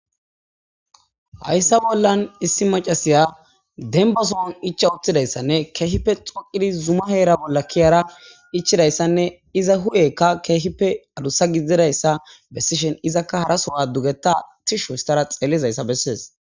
Haysa bollan issi machashiya demba sohon ichcha uttidaysane kehippe dhoqidi zuma heran kezada ichidaysane iza hupheyika kehippe adusa gididaysa besishin izaka haraso dugeta tishi histada xelizaysa beses